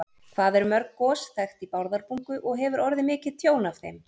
Hvað eru mörg gos þekkt í Bárðarbungu og hefur orðið mikið tjón af þeim?